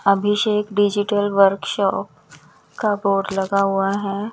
अभिषेक digital workshop का board लगा हुआ है।